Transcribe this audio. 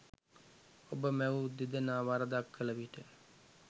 ඔබ මැවූ දෙදෙනා වරදක් කළ විට